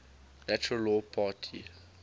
natural law party